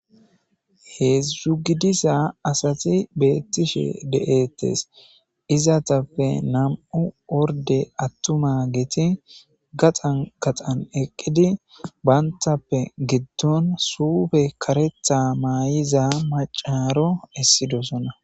Heedzdzu gidisa asati beettishe de7ettes izatappe nam7u orde attuma giti gaxan gaxan eqqidi bayntappe giddon suufe karetha maay7iza macaaro essidosona.